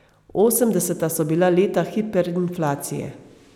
Osemdeseta so bila leta hiperinflacije.